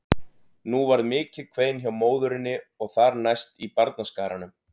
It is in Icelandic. Nú varð mikið kvein hjá móðurinni og þar næst í barnaskaranum.